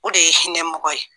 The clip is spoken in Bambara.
O de ye hinɛ mɔgɔ ye